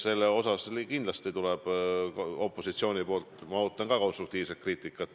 Selles mõttes ma kindlasti ootan opositsioonilt konstruktiivset kriitikat.